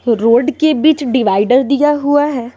Road के बीच divider दिया हुआ है।